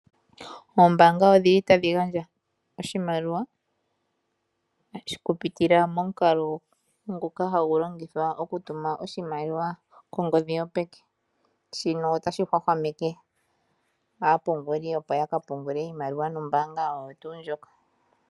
Oombanga odhi li tadhi gandja oshimaliwa okupitila momukalo ngoka hagu longithwa okutuma oshimaliwa kongodhi yopeke. Shino otashi hwahwameke aapunguli opo ya ka pungule iimaliwa nombaanga oyo tuu ndjoka.